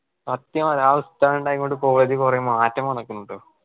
സത്യം അതാ അവസ്ഥ ണ്ടായേ കൊണ്ട് college കുറെ മാറ്റം വന്നിക്കുണ് കേട്ടോ